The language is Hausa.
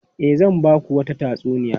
E, zan ba ku wata tatsuniya.